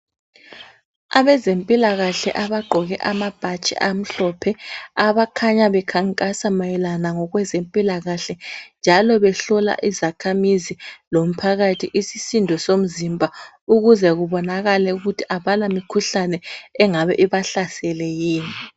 Abezempilakahle abagqoke amabhatshi amhlophe, abakhanya bekhankasa mayelana ngokwezempilakahle, njalo behlola izakhamizi lomphakathi isisindo somzimba ukuze kubonakale ukuthi abalamikhuhlane engabe ibahlasele yini.